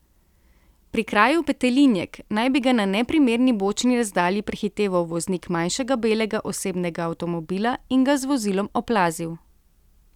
Pri kraju Petelinjek naj bi ga na neprimerni bočni razdalji prehiteval voznik manjšega belega osebnega avtomobila in ga z vozilom oplazil.